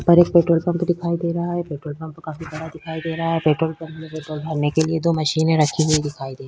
पर एक petrol pump दिखाई दे रहा है। पेट्रोल पंप काफी बड़ा दिखाई दे रहा है। पेट्रोल पंप भरने के लिए दो मशीनें रखी हुई दिखाई दे --